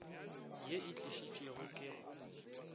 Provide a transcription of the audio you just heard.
ye e tlišitšwe ke go